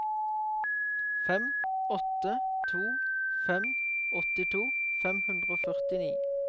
fem åtte to fem åttito fem hundre og førtini